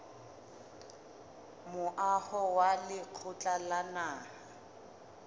moaho wa lekgotla la naha